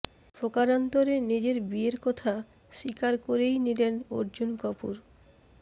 প্রকারান্তরে নিজের বিয়ের কথা স্বীকার করেই নিলেন অর্জুন কপূর